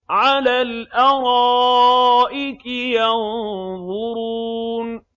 عَلَى الْأَرَائِكِ يَنظُرُونَ